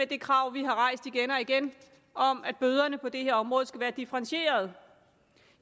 det krav vi har rejst igen og igen om at bøderne på det her område skal være differentierede